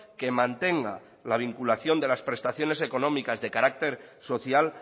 que mantenga la vinculación de las prestaciones económicas de carácter social